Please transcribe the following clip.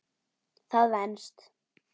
Það venst.